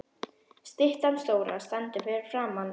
Styttan stóra stendur fyrir framan sambýlishúsið í París.